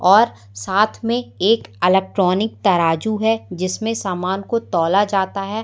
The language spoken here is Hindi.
और साथ में एक अलेक्ट्रॉनिक तराजू है जिसमें समान को तौला जाता है।